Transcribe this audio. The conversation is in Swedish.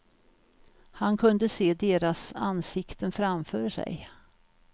Han kunde se deras ansikten framför sig.